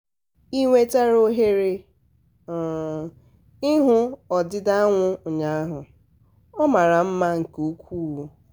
ị nwetara ohere um ị hụ ọdịda anwụ ụnyaahụ? ọ mara mma um nke ukwuu!